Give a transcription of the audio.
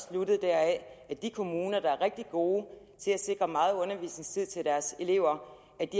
sluttet at de kommuner der er rigtig gode til at sikre meget undervisningstid til deres elever